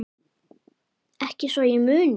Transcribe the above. Ekki svo ég muni.